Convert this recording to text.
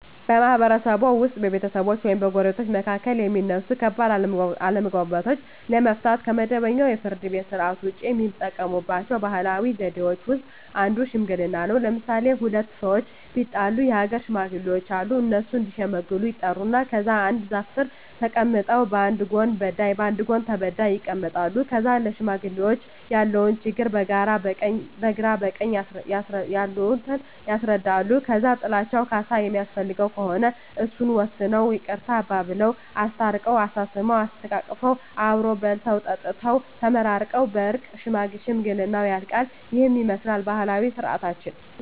በማህበረሰብዎ ውስጥ በቤተሰቦች ወይም በጎረቤቶች መካከል የሚነሱ ከባድ አለመግባባቶችን ለመፍታት (ከመደበኛው የፍርድ ቤት ሥርዓት ውጪ) የሚጠቀሙባቸው ባህላዊ ዘዴዎች ውስጥ አንዱ ሽምግልና ነው። ለምሣሌ፦ ሁለት ሠዎች ቢጣሉ የአገር ሽማግሌዎች አሉ። እነሱ እዲሸመግሉ ይጠሩና ከዛ አንድ ዛፍ ስር ተቀምጠው በአንድ ጎን በዳይ በአንድ ጎን ተበዳይ ይቀመጣሉ። ከዛ ለሽማግሌዎች ያለውን ችግር በግራ በቀኝ ያሉት ያስረዳሉ። ከዛ ጥላቸው ካሣ የሚያስፈልገው ከሆነ እሱን ወስነው ይቅርታ አባብለው። አስታርቀው፤ አሳስመው፤ አሰተቃቅፈው አብረው በልተው ጠጥተው ተመራርቀው በእርቅ ሽምግልናው ያልቃ። ይህንን ይመስላል ባህላዊ ስርዓታችን።